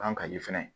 Ban ka di fɛnɛ